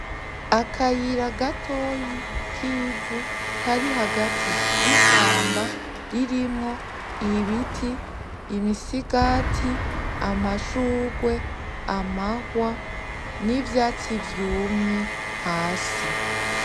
akayira gatoya kivu kari hagati yishamba ririmwo ibiti imisigati amashugwe amahwa nivyatsi vyumye hasi